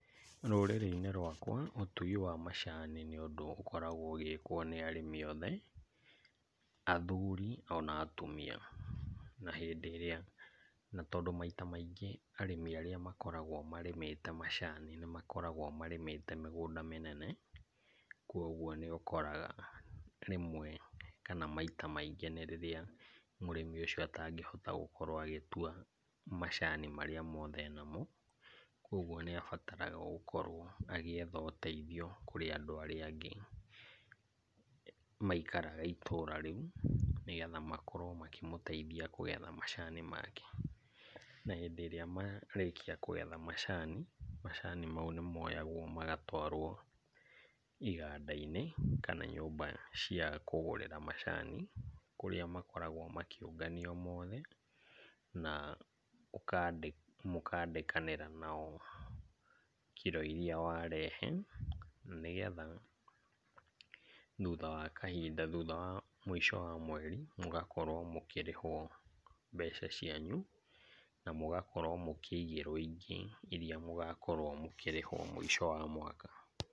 Rũrĩrĩ-inĩ rwakwa ũtui wa macani nĩ ũndũ ũkoragwo ũgĩkwo nĩ arĩmi othe athuri ona atumia. Na hĩndĩ ĩrĩa na tondũ maita maingĩ arĩmi arĩa makoragwo marĩmĩte macani nĩ makoragwo marĩmĩte mĩgũnda mĩnene. Kwoguo nĩ ũkoraga rĩmwe kana maita maingĩ nĩ rĩrĩa mũrĩmi ũcio atangĩhota gũkorwo agĩtua macani marĩa mothe enamo. Kwoguo nĩ abataraga gũkorwo agĩetha ũteithio kũrĩ andũ arĩa angĩ maikaraga itũra rĩu, nĩgetha makorwo makĩmũteithia kũgetha macani make. Na hĩndĩ ĩrĩa marĩkia kũgetha macani, macani mau nĩ moyagwo na magatwarwo iganda-inĩ kana nyũmba cia kũgũrĩra macani. Kũrĩa makoragwo makĩũnganio mothe na mũkandĩkanĩra nao kiro irĩa warehe. Na nĩgetha thutha wa kahinda, thutha wa mũico wa mweri mũgakorwo mũkĩrĩhwo mbeca cianyu na mũgakorwo mũkĩigĩrwo ingĩ irĩa mũgakorwo mũkĩrĩhwo mũico wa mwaka.